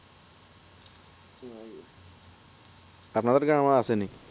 আপনাদের গ্রাম ও আছে নাকি